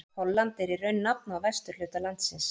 Holland er í raun nafn á vesturhluta landsins.